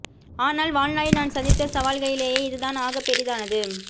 ஆனால் வாழ்நாளில் நான் சந்தித்த சவால்களிலேயே இதுதான் ஆகப் பெரிதானது